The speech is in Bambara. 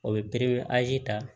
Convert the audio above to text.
O bɛ biriki ta